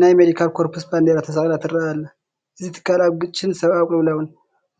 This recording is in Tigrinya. ናይ መዲካል ኮርፕስ ባንዲራ ተሰቒላ ትርአ ኣላ፡፡ እዚ ትካል ኣብ ግጭትን ሰብኣዊ ቅልውላውን